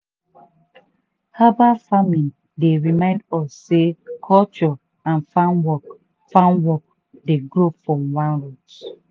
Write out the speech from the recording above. herbal farming dey remind us sey culture and farm work farm work dey grow from one root.